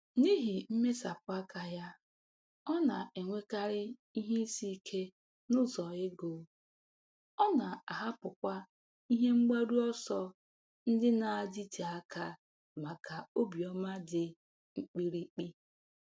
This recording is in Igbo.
N'ihi mmesapụ aka ya, ọ na-enwekarị ihe isi ike n'ụzọ ego, ọ na-ahapụkwa ihe mgbaru ọsọ ndị na-adịte aka maka obiọma dị mkpirikpi.